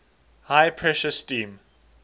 high pressure steam